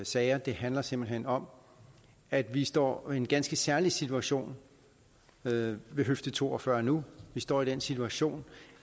sager det handler simpelt hen om at vi står i en ganske særlig situation ved høfde to og fyrre nu vi står i den situation